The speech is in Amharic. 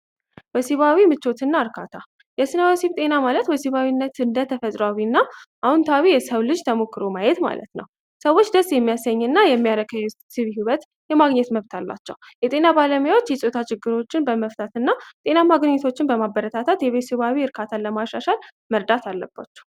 ወሲባዊ ምቾትና እርካታ የስነ ወሲብ ጤና ማለት ወሲባዊነት እንደ ተፈጥሯዊ እና አዎንታዊ የሰው ልጅ ተሞክሮ ማየት ማለት ነው። ሰዎች ደስ የሚያሰኝ እና የሚያረካ የወሲብ ሂዎት የማግኘት መብት አላቸው። የጤና ባለሙያዎች የፆታ ችግሮችን በመፍታት እና ጤናማ ግንኙነቶችን በማበረታታት የወሲባዊ እካርታን ለማሻሻል መርዳት አለባቸው።